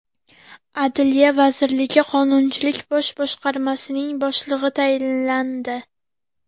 Adliya vazirligi Qonunchilik bosh boshqarmasining boshlig‘i tayinlandi.